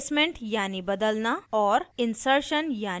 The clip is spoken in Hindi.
insertion यानी समावेश करना